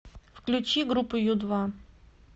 включи группу ю два